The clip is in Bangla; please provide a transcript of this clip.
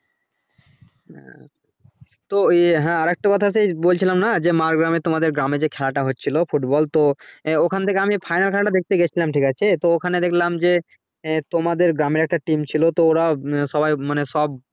তো ইয়ে হ্যাঁ আর একটা কথা সেই বলছিলাম না যে মাড়গ্রাম এর তোমাদের গ্রামে যে খেলা তা হচ্ছিলো football তো ওখান থেকে আমি final খেলা টা দেখেত গেছিলাম ঠিক আছে তো ওখানে দেখলাম যে তোমাদের গ্রামের একটা team ছিল তো ওরা মানে সব